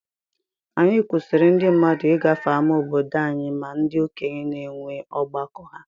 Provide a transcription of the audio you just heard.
Anyi kwụsiri ndi mmadụ igafe ama obodo anyi ma ndi okenye na enwe ọgbakọ ha.